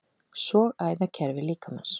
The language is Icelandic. Sogæðakerfi líkamans.